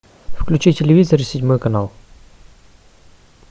включи телевизор седьмой канал